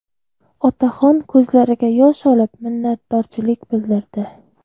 Otaxon ko‘zlariga yosh olib, minnatdorchilik bildirdi.